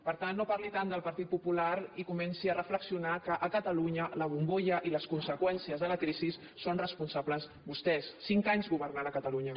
per tant no parli tant del partit popular i comenci a reflexionar que a catalunya de la bombolla i de les conseqüències de la crisi en són responsables vostès cinc anys governant a catalunya